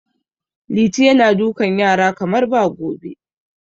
Liti yana dukan yaran kamar ba gobe.